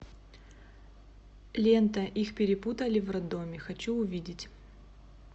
лента их перепутали в роддоме хочу увидеть